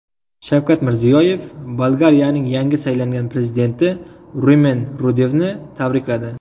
Shavkat Mirziyoyev Bolgariyaning yangi saylangan prezidenti Rumen Rudevni tabrikladi.